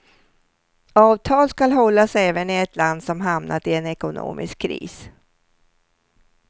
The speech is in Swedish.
Avtal skall hållas även i ett land som hamnat i en ekonomisk kris.